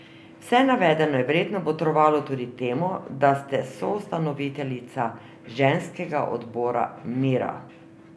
Vse navedeno je verjetno botrovalo tudi temu, da ste soustanoviteljica ženskega odbora Mira...